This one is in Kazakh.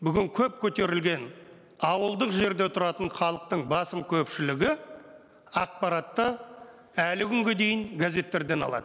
бүгін көп көтерілген ауылдық жерде тұратын халықтың басым көпшілігі ақпаратты әлі күнге дейін газеттерден алады